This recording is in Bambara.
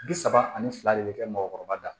Bi saba ani fila de bɛ kɛ mɔgɔkɔrɔba la